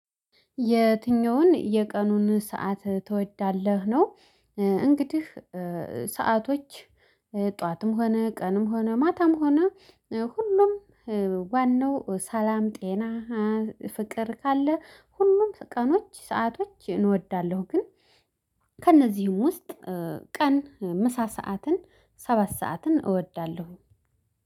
የትኛውን የቀኑን ሰዓት ትወዳለህ? ነው እንግዲህ ሰአቶች ጠዋትም ሆነ ቀንም ሆነ ማታም ሆነ ሁሉም ዋናው ሰላም ጤና ፍቅር ካለ ሁሉም ቀኖች ሰአቶች እወዳለሁ። ግን ከእነዚህም ውስጥ ቀን ምሳ ሰዓትን ሰባት ሰዓትን እወዳለሁ።